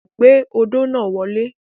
Gbé odó náà wọlé.